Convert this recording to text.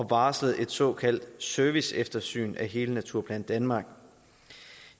varslet et såkaldt serviceeftersyn af hele naturplan danmark